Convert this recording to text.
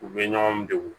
U bɛ ɲɔgɔn degun